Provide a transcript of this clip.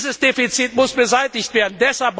Dieses Defizit muss beseitigt werden.